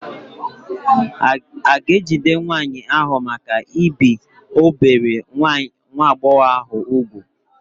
A ga-ejide nwaanyị ahụ maka ibi obere nwa agbọghọ ahụ úgwù?